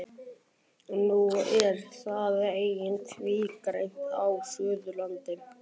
Nú er það einnig tvígreint á Suðurlandi.